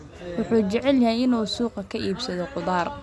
Wuxuu jecel yahay inuu suuqa ka iibsado khudaar.